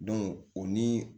o ni